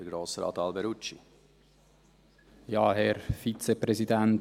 Ich kann mich genau erinnern: